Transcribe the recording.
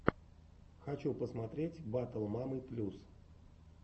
хочу посмотреть батл мамы плюс